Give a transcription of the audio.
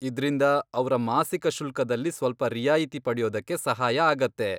ಇದ್ರಿಂದ ಅವ್ರ ಮಾಸಿಕ ಶುಲ್ಕದಲ್ಲಿ ಸ್ವಲ್ಪ ರಿಯಾಯಿತಿ ಪಡ್ಯೋದಕ್ಕೆ ಸಹಾಯ ಆಗತ್ತೆ.